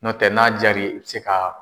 N'o tɛ n'a jaar'i ye i bɛ se ka